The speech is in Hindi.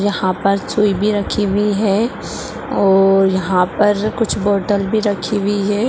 यहाँ पर सुई भी रखी हुई है और यहाँ पर कुछ बॉटल भी रखी हुई है।